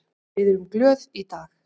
Við erum glöð í dag.